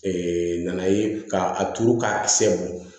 nana ye ka a turu k'a sɛ mɔ